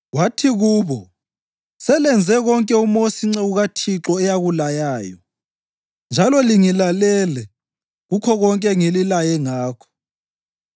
wathi kubo, “Selenze konke uMosi inceku kaThixo eyakulayayo, njalo lingilalele kukho konke engililaye ngakho.